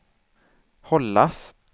hållas